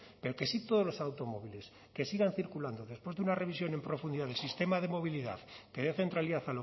pero que sí todos los automóviles que sigan circulando después de una revisión en profundidad del sistema de movilidad que dé centralidad